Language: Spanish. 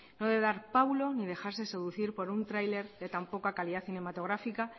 no debe de dar ni dejarse seducir por un trailer de tan poca calidad cinematográfica